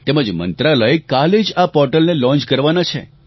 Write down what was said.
તેમજ મંત્રાલય કાલે જ આ પોર્ટલને લોન્ચ કરવાના છે